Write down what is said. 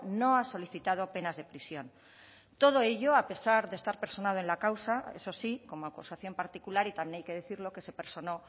no ha solicitado penas de prisión todo ello a pesar de estar personado en la causa eso sí como acusación particular y también hay que decirlo que se personó